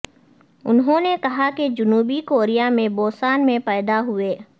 انہوں نے کہا کہ جنوبی کوریا میں بوسان میں پیدا ہوئے